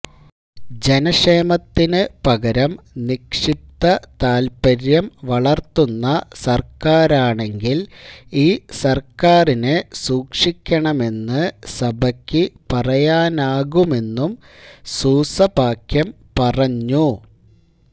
ജനക്ഷേമത്തിനു പകരം നിക്ഷിപ്ത താല്പര്യം വളർത്തുന്ന സർക്കാരാണെങ്കിൽ ഈ സർക്കാരിനെ സൂക്ഷിക്കണമെന്നു സഭയ്ക്കു പറയാനാകുമെന്നും സൂസപാക്യം പറഞ്ഞു